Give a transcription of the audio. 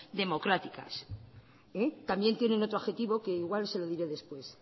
democráticas también tienen otro adjetivo que igual se lo diré después